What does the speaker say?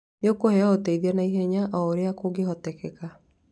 Nĩũkũheo ũteithio na ihenya o ũrĩa kũngĩhoteka.